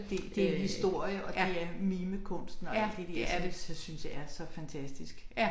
Det det en historie og det er mimekunsten og alt det der som så synes jeg er så fantastisk